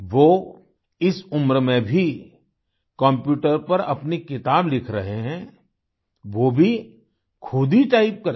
वो इस उम्र में भी कम्प्यूटर पर अपनी किताब लिख रहे हैं वो भी खुद ही टाइप करके